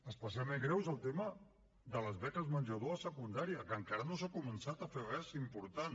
especialment greu és el tema de les beques menjador a secundària que encara no s’hi ha començat a fer res important